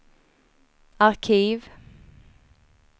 arkiv